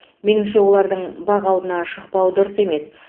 меніңше олардың бақ алдына шықпауы дұрыс емес